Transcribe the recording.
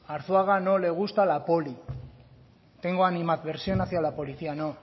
a arzuaga no le gusta la poli tengo animadversión hacía la policía no